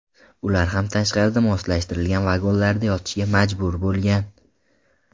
Ular ham tashqarida moslashtirilgan vagonlarda yotishga majbur bo‘lgan.